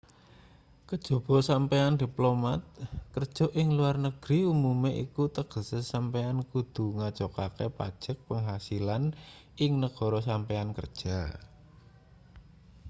kajaba sampeyan diplomat kerja ing luar negeri umume iku tegese sampeyan kudu ngajokake pajek penghasilan ing negara sampeyan kerja